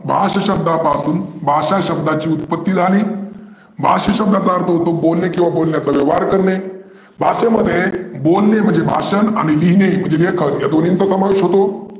भाष्य शब्दापासून भाषा शब्दाची उत्पत्ती झाली, भाष्य शब्दाचा अर्थ होतो बोलने किंवा बोलले परिवार करणे. भष्य मध्ये बोलने म्हणजे भाषन, आणि लिहिने म्हणजे लेखन या दोन्हींचा समावेश होतो.